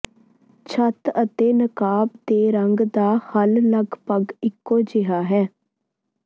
ਛੱਤ ਅਤੇ ਨਕਾਬ ਦੇ ਰੰਗ ਦਾ ਹੱਲ ਲਗਭਗ ਇਕੋ ਜਿਹਾ ਹੈ